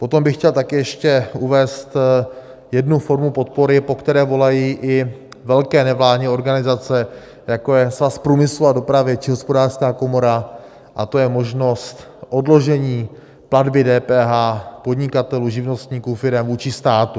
Potom bych chtěl taky ještě uvést jednu formu podpory, po které volají i velké nevládní organizace, jako je Svaz průmyslu a dopravy či Hospodářská komora, a to je možnost odložení platby DPH podnikatelů, živnostníků, firem vůči státu.